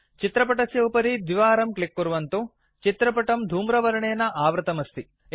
चित्रपटस्य उपरि द्विवारं क्लिक् कुर्वन्तु चित्रपटं धूमवर्णेन आवृतमस्ति